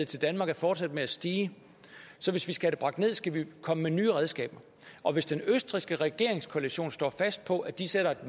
til danmark er fortsat med at stige så hvis vi skal bragt ned skal vi komme med nye redskaber og hvis den østrigske regeringskoalition står fast på at de sætter et